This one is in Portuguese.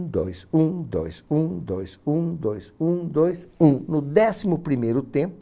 Um dois um dois um dois um dois um dois um, no décimo primeiro tempo